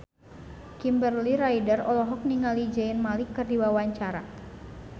Kimberly Ryder olohok ningali Zayn Malik keur diwawancara